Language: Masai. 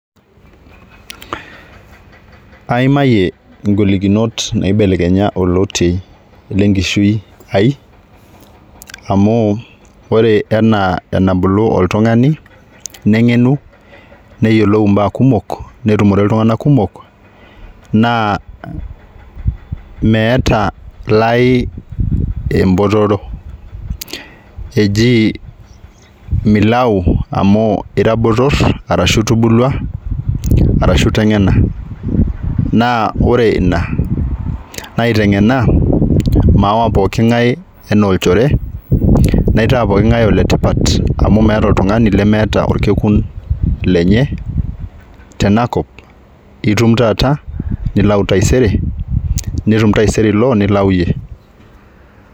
Aimayie ngolinot naibelekenya olotie lenkishui ai amu ore enaa enabulu oltungani nengenu neyiolou imbaa kumok , netumore iltunganak kumok naa meeta lai embotoro, 'eji milayu amu ira botor arashu itubulua arashu itengena '. Naa ore ina aitengena maawa pooki ngae anaa olchore naitaa pooki ngae oletipat amu meeta oltungani lemeeta orkekun lenye tenakop , itum taata nilau taisere , netum taisere ilo, nilau iyie .